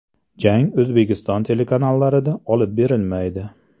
Jang O‘zbekiston telekanallarida olib berilmaydi.